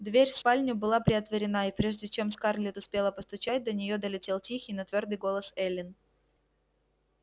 дверь в спальню была приотворена и прежде чем скарлетт успела постучать до неё долетел тихий но твёрдый голос эллин